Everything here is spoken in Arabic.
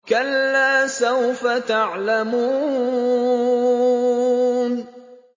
كَلَّا سَوْفَ تَعْلَمُونَ